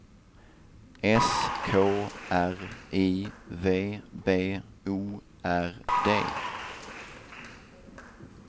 S K R I V B O R D